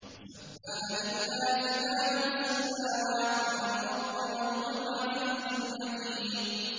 سَبَّحَ لِلَّهِ مَا فِي السَّمَاوَاتِ وَالْأَرْضِ ۖ وَهُوَ الْعَزِيزُ الْحَكِيمُ